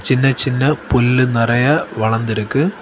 சின்ன சின்ன புல்லு நெறைய வளந்துருக்கு.